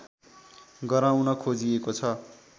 गराउन खोजिएको छ